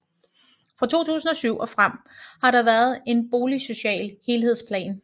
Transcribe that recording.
Fra 2007 og frem har der været en boligsocial helhedsplan